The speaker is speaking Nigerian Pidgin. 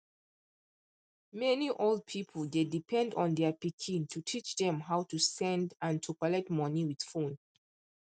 many old people dey depend on their pikin to teach dem how to send and to collect money with phone